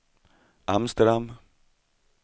Amsterdam